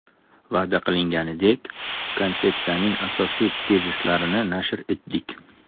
Va’da qilinganidek, konsepsiyaning asosiy tezislarini nashr etdik.